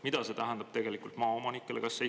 Mida see tegelikult tähendab maaomanikele?